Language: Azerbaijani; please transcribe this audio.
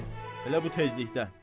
Bəli, elə bu tezlikdə.